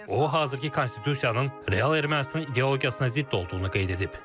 O, hazırki konstitusiyanın real Ermənistan ideologiyasına zidd olduğunu qeyd edib.